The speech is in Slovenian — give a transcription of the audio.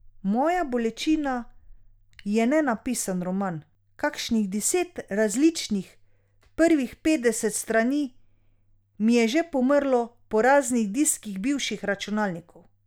Moja bolečina je nenapisan roman, kakšnih deset različnih prvih petdeset strani mi je že pomrlo po raznih diskih bivših računalnikov.